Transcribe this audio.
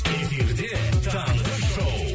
эфирде таңғы шоу